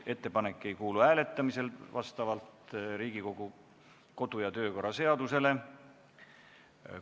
Ettepanek ei kuulu vastavalt Riigikogu kodu- ja töökorra seadusele hääletamisele.